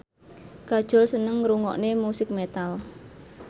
Kajol seneng ngrungokne musik metal